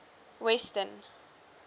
weston